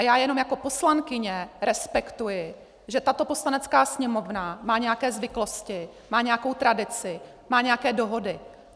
A já jenom jako poslankyně respektuji, že tato Poslanecká sněmovna má nějaké zvyklosti, má nějakou tradici, má nějaké dohody.